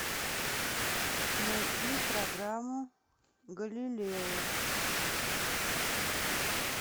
найти программу галилео